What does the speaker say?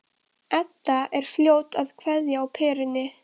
Edda er fljót að kveikja á perunni.